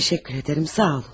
Çok teşekkür ederim, sağ olun.